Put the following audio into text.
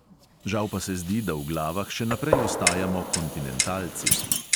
Žal pa se zdi, da v glavah še naprej ostajamo kontinentalci.